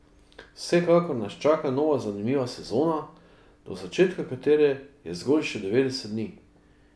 Vsekakor nas čaka nova zanimiva sezona, do začetka katere je zgolj še devetdeset dni.